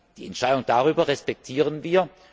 Die Entscheidung darüber respektieren wir.